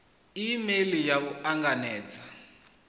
e meili ya u anganedza